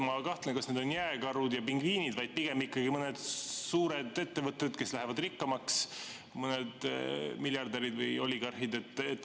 Ma kahtlen, kas need on jääkarud ja pingviinid, pigem ikkagi mõned suured ettevõtted, kes lähevad rikkamaks, mõned miljardärid või oligarhid.